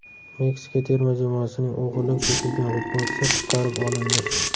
Meksika terma jamoasining o‘g‘irlab ketilgan futbolchisi qutqarib olindi.